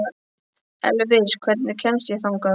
Elvis, hvernig kemst ég þangað?